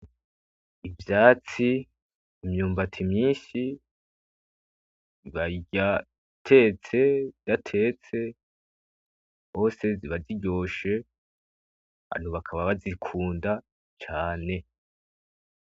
Ivyatsi imyumbati myishi bayirya itetse idatetse hose ziba ziryoshe hanyuma bakaba bazikunda cane.